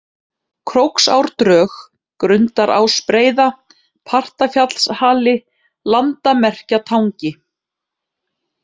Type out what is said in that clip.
Króksárdrög, Grundarásbreiða, Partafjallshali, Landamerkjatangi